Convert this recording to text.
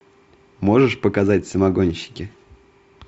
можешь показать самогонщики